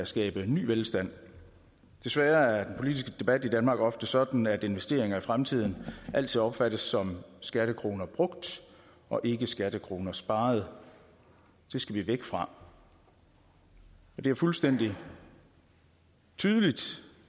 skabe ny velstand desværre er den politiske debat i danmark ofte sådan at investeringer i fremtiden altid opfattes som skattekroner brugt og ikke skattekroner sparet det skal vi væk fra det er fuldstændig tydeligt